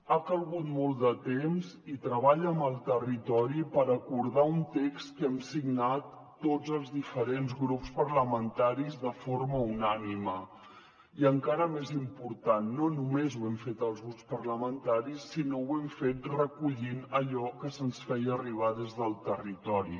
ha calgut molt de temps i treball amb el territori per acordar un text que hem signat tots els diferents grups parlamentaris de forma unànime i encara més important no només ho hem fet els grups parlamentaris sinó que ho hem fet recollint allò que se’ns feia arribar des del territori